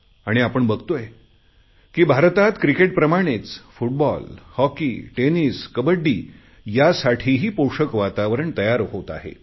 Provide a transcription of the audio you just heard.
आणि आपण बघतोय की भारतात क्रिकेट प्रमाणेच फुटबॉल हॉकी टेनिस कबड्डी यासाठीही पोषक वातावरण तयार होत आहे